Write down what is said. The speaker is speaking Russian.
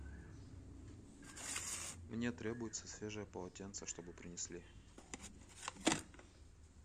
мне требуется свежее полотенце чтобы принесли